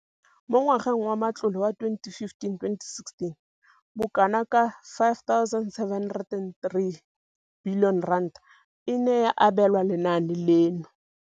Mo ngwageng wa matlole wa 2015 le 16, bokanaka R5 703 bilione e ne ya abelwa lenaane leno.